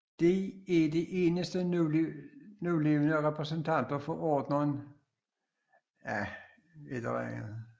De er de eneste nulevende repræsentanter for ordenen Rhynchocephalia